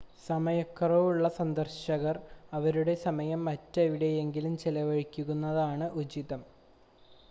സമയക്കുറവുള്ള സന്ദർശകർ അവരുടെ സമയം മറ്റെവിടെയെങ്കിലും ചെലവഴിക്കുന്നതാകും ഉചിതം